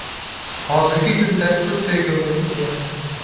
Hozirgi kunda sud tergovi ketayapti.